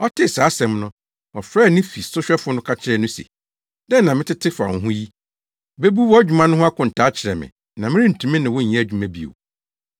Ɔtee saa asɛm no, ɔfrɛɛ ne fi sohwɛfo no ka kyerɛɛ no se, ‘Dɛn na metete fa wo ho yi? Bebu wʼadwuma ho akontaa kyerɛ me na merentumi ne wo nyɛ adwuma bio.’